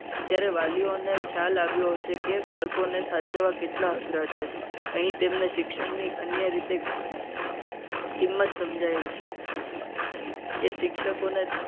ત્યારે વાલીઓને ખ્યાલ આવ્યો હશે. કે બાળકોને સાચવવા કેટલા અઘરા છે. અહીં તે તેમને શિક્ષણની અન્ય રીતે કિંમત સમજાય હશે. કે શિક્ષકોને